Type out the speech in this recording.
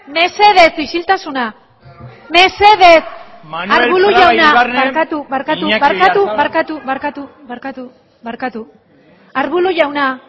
mesedez isiltasuna barkatu arbulo jauna